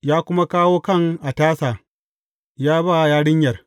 Ya kuma kawo kan a tasa ya ba yarinyar.